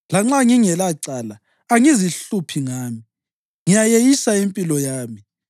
Lanxa ngingelacala, angizihluphi ngami; ngiyayeyisa impilo yami.